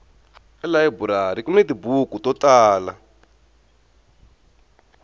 elayiburari kuni tibuku to tala